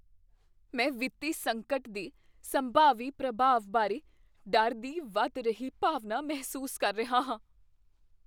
ਮੈਂ ਵਿੱਤੀ ਸੰਕਟ ਦੇ ਸੰਭਾਵੀ ਪ੍ਰਭਾਵ ਬਾਰੇ ਡਰ ਦੀ ਵਧ ਰਹੀ ਭਾਵਨਾ ਮਹਿਸੂਸ ਕਰ ਰਿਹਾ ਹਾਂ।